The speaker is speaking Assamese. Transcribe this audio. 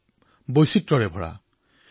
নানা বৈচিত্ৰতাৰে ভৰা